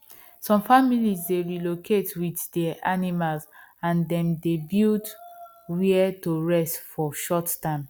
some families dey relocate with there animals and them dey build where to rest for short time